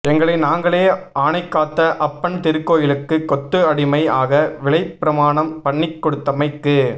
எங்களை நாங்களே ஆனைகாத்த அப்பன் திருக்கோயிலுக்கு கொத்து அடிமை ஆக விலைபிரமாணம் பண்ணிக்குடுத்தமைக்கு